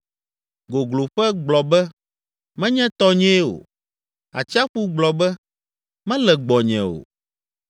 Gogloƒe gblɔ be, ‘Menye tɔnyee o,’ Atsiaƒu gblɔ be, ‘Mele gbɔnye o,’